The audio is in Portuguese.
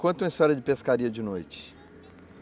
Conta uma história de pescaria de noite.